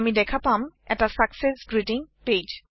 আমি দেখা পাম এটা চাকচেছ গ্ৰীটিং Page